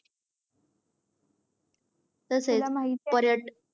तसेच पर्यटक